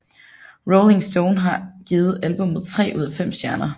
Rolling Stone har givet albummet tre ud af fem stjerner